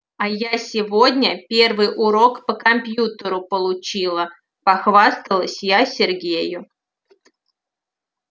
а я сегодня первый урок по компьютеру получила похвасталась я сергею